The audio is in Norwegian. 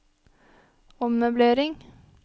ommøblering